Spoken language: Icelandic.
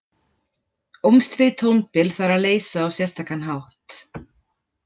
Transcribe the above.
Ómstríð tónbil þarf að leysa á sérstakan hátt.